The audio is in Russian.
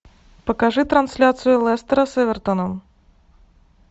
покажи трансляцию лестера с эвертоном